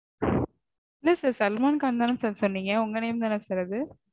இல்ல sir சல்மான் கான் தான sir சொன்னீங்க? உங்க name தான sir அது?